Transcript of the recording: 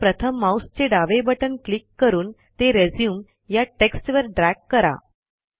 आता प्रथम माऊसचे डावे बटण क्लिक करून ते रिझ्यूम या टेक्स्टवर ड्रॅग करा